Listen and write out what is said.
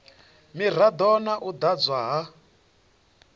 mirado na u ḓadzwa ha